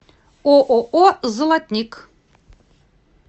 ооо золотник